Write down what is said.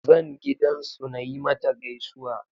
Zan gidan su nayi mata gaisuwa